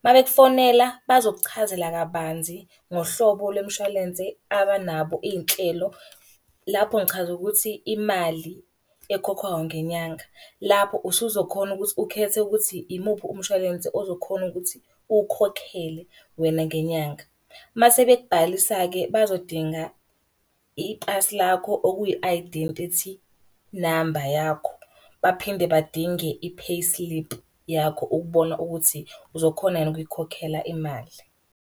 Uma bekufonela bazokuchazela kabanzi ngohlobo lwemshwalense abanabo iy'nhlelo. Lapho ngichaza ukuthi imali ekhokhwayo ngenyanga. Lapho usuzokhona ukuthi ukhethe ukuthi imuphi umshwalense ozokhona ukuthi uwukhokhele wena ngenyanga. Uma sebekubhalisa-ke bazodinga ipasi lakho okuyi-dentity number yakho. Baphinde badinge i-payslip yakho ukubona ukuthi uzokhona yini ukuyikhokhela imali.